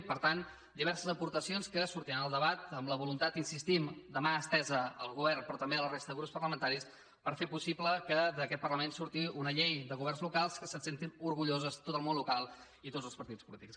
i per tant diverses aportacions que sortiran al debat amb la voluntat hi insistim de mà estesa al govern però també a la resta de grups parlamentaris per fer possible que d’aquest parlament surti una llei de governs locals que se’n sentin orgullosos tot el món local i tots els partits polítics